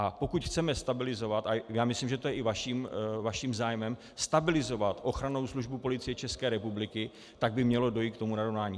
A pokud chceme stabilizovat, a já myslím, že to je i vaším zájmem, stabilizovat Ochranou službu Policie České republiky, tak by mělo dojít k tomu narovnání.